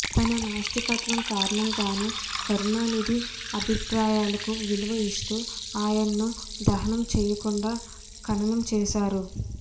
తన నాస్తికత్వం కారణంగానే కరుణానిధి అభిప్రాయాలకు విలువ ఇస్తూ ఆయనను దహనం చేయకుండా ఖననం చేశారు